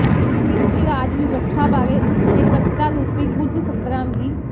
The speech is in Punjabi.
ਭ੍ਰਿਸ਼ਟ ਰਾਜ ਵਿਵਸਥਾ ਬਾਰੇ ਉਸ ਨੇ ਕਵਿਤਾ ਰੂਪੀ ਕੁਝ ਸਤਰਾਂ ਵੀ